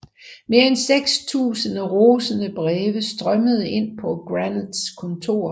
Mere end seks tusinde rosende breve strømmede ind på Granets kontor